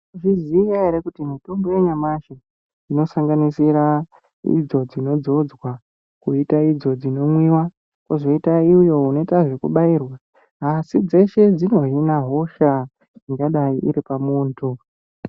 Mwaizviziya ere kuti mitombo yanyamashi inosanganisira idzo dzinodzodzwa, kuita idzo dzinomwiwa kuzoita uyo unoitwa zvekubhayirwa, asi dzeshe dzinohina hosha ingadayi iripa muntu.